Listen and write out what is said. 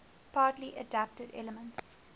party adapted elements